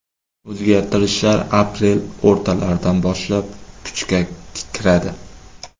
O‘zgartirishlar aprel o‘rtalaridan boshlab kuchga kiradi.